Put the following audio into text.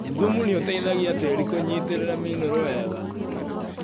Thumu nĩũteithagia tĩrĩ kũnyitĩrĩra minũrũ wega.